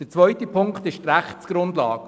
Der zweite Punkt ist die Rechtsgrundlage.